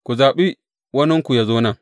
Ku zaɓi waninku yă zo nan.